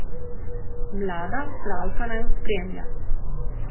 Mlada Avstralka naju spremlja.